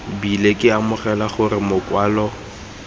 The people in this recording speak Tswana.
bile ke amogela gore makwalo